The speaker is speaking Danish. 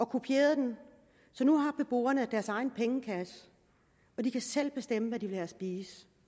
kopierede den så nu har beboerne deres egen pengekasse og de kan selv bestemme hvad de vil have at spise